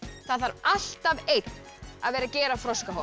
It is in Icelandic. það þarf alltaf einn að gera